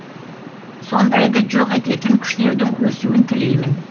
сондайды жоқ ететін күштердің өсуін тілеймін